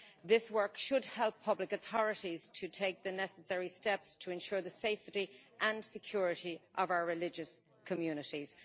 This work should help public authorities to take the necessary steps to ensure the safety and security of our religious communities.